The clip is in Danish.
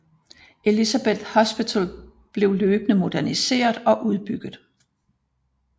Elisabeth Hospital blev løbende moderniseret og udbygget